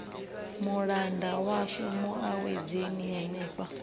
mulanda washu mu awedzeni henefha